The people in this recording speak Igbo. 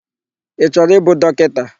Ị chọrọ ịbụ dọkịta?